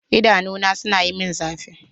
Idanuna suna min zafi.